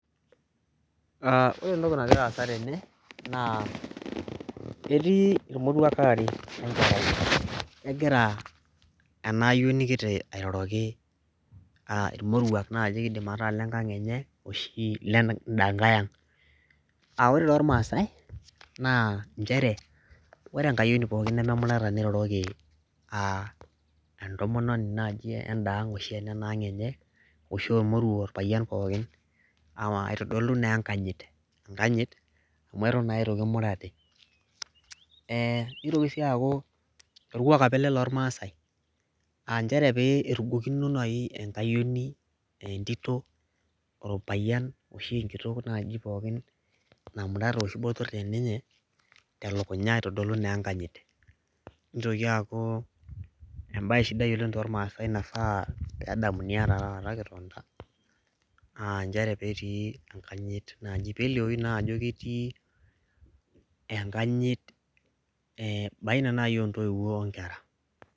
Aa ore entoki nagira aasa tene naa etii irmoruak aare we nkerai, egira ena ayoni kiti airoroki aa irmoruak naaji kiidim ataa le nkang' enye oshi lenda nkae ang'. Aa ore tormaasai naa njere ore enkayioni pookin nememurata niroroki aa entomononi naaji enda ang' oshi enena ang' enye oshi ormoruo orpayian pookin aawa aitodolu naa enkayit, enkanyit amu eton naa itu kimurati. Ee itoki sii aaku orkuak apa ele lormaasai aa njere pee irugokino nai enkayioni ee entito orpayian oshi enkitok naaji pokin namurata oshi botor teninye te lukunya aitodolu naa enkanyit. Nitoki aaku embaye sidai oleng' tormaasai naifaa peedamuni ena taata ketonita aa njere peetii enkanyit naaji peelioyu naa ajo ketii enkanyit ee baina nai o ntoiwuo o nkera.